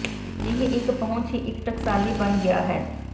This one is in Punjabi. ਅਜਿਹੇ ਇੱਕ ਪਹੁੰਚ ਹੀ ਇੱਕ ਟਕਸਾਲੀ ਬਣ ਗਿਆ ਹੈ